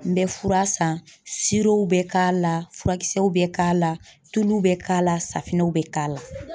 N bɛ fura san bɛ k'a la furakisɛw bɛ k'a la tuluw bɛ k'a la bɛ k'a la.